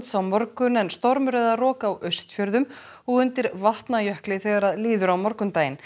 á morgun en stormur eða rok á Austfjörðum og undir Vatnajökli þegar líður á morguninn